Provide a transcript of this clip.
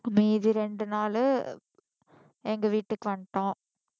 மீதி ரெண்டு நாளு எங்க வீட்டுக்கு வந்துட்டோம்